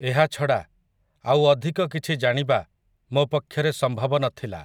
ଏହାଛଡ଼ା, ଆଉ ଅଧିକ କିଛି ଜାଣିବା, ମୋ ପକ୍ଷରେ ସମ୍ଭବ ନ ଥିଲା ।